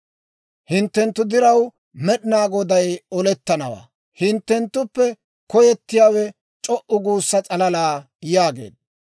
Hinttenttu diraw Med'inaa Goday olettanawaa; hinttenttuppe koyettiyaawe c'o"u guussa s'alala» yaageedda.